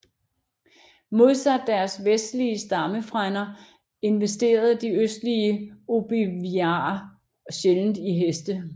Modsat deres vestlige stammefrænder investerede de østlige ojibwaer sjældent i heste